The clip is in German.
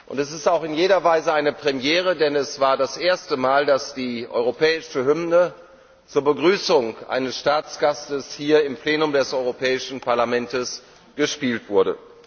Es ist auch in jeder Weise eine Premiere, denn es war das erste Mal, dass die europäische Hymne zur Begrüßung eines Staatsgastes hier im Plenum des Europäischen Parlaments gespielt wurde.